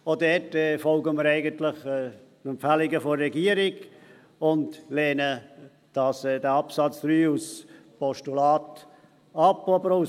Auch hier folgen wir den Empfehlungen der Regierung und lehnen den Punkt 3 als Motion und als Postulat ab.